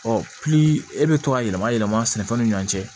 Ɔ e bɛ to ka yɛlɛma yɛlɛma sɛnɛfɛnw ni ɲɔan cɛ